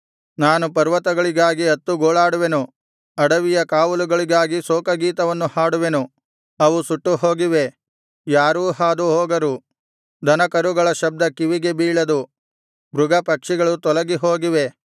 ನಾನು ಪರ್ವತಗಳಿಗಾಗಿ ಅತ್ತು ಗೋಳಾಡುವೆನು ಅಡವಿಯ ಕಾವಲುಗಳಿಗಾಗಿ ಶೋಕಗೀತೆಯನ್ನು ಹಾಡುವೆನು ಅವು ಸುಟ್ಟುಹೋಗಿವೆ ಯಾರೂ ಹಾದು ಹೋಗರು ದನಕರುಗಳ ಶಬ್ದ ಕಿವಿಗೆ ಬೀಳದು ಮೃಗ ಪಕ್ಷಿಗಳು ತೊಲಗಿಹೋಗಿವೆ